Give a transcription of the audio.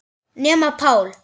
Nema Páll.